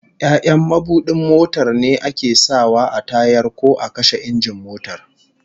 Ya'yan mabudin motar ne ake sa wa a tayar ko a kashe injin motar